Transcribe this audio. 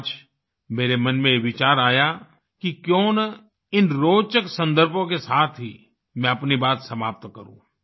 आज मेरे मन में ये विचार आया कि क्यों न इन रोचक सन्दर्भों के साथ ही मैं अपनी बात समाप्त करूँ